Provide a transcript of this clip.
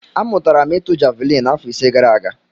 Amụtara m ịtụ javelin afọ ise gara aga.